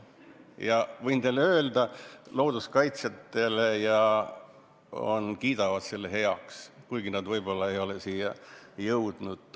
Ma võin teile öelda, et looduskaitsjad kiidavad selle heaks, kuigi nad võib-olla ei ole seda veel teha jõudnud.